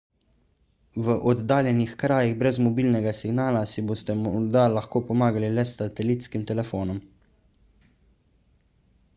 v oddaljenih krajih brez mobilnega signala si boste morda lahko pomagali le s satelitskim telefonom